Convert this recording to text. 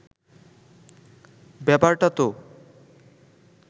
ব্যাপারটা তো